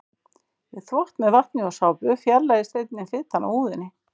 Við þvott með vatni og sápu fjarlægist einnig fitan af húðinni.